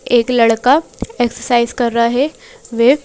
एक लड़का एक्सरसाइज रहा है वे--